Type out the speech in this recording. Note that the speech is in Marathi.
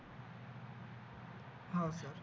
हा सर